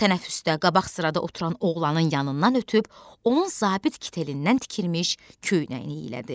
O tənəffüsdə qabaq sırada oturan oğlanın yanından ötüb onun zabit kitelindən tikilmiş köynəyini iyələdi.